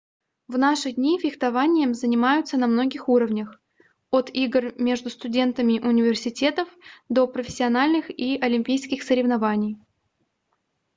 в наши дни фехтованием занимаются на многих уровнях от игр между студентами университетов до профессиональных и олимпийских соревнований